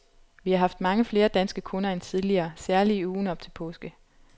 Vi har haft mange flere danske kunder end tidligere, særlig i ugen op til påske.